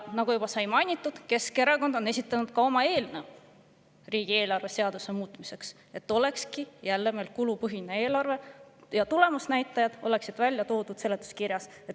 Nagu sai juba mainitud, Keskerakond on esitanud ka oma eelnõu riigieelarve seaduse muutmiseks nii, et meil olekski jälle kulupõhine eelarve ja tulemusnäitajad oleksid ära toodud seletuskirjas.